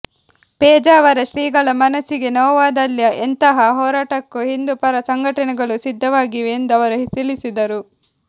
ಪೇಜಾವರ ಶ್ರೀಗಳ ಮನಸ್ಸಿಗೆ ನೋವಾದಲ್ಲಿ ಎಂತಹ ಹೋರಾಟಕ್ಕೂ ಹಿಂದೂ ಪರ ಸಂಘಟನೆಗಳು ಸಿದ್ಧವಾಗಿವೆ ಎಂದು ಅವರು ತಿಳಿಸಿದರು